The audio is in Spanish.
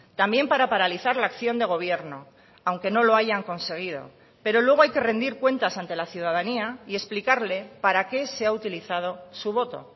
también para paralizar la acción de gobierno aunque no lo hayan conseguido pero luego hay que rendir cuentas ante la ciudadanía y explicarle para qué se ha utilizado su voto